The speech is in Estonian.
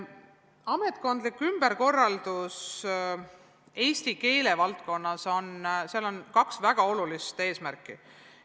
Ametkondlikul ümberkorraldusel eesti keele valdkonnas on kaks väga olulist eesmärki.